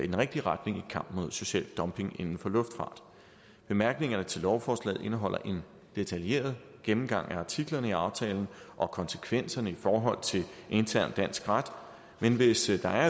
den rigtige retning i kampen mod social dumping inden for luftfart bemærkningerne til lovforslaget indeholder en detaljeret gennemgang af artiklerne i aftalen og konsekvenserne i forhold til intern dansk ret men hvis der